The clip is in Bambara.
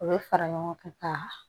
U bɛ fara ɲɔgɔn kan ka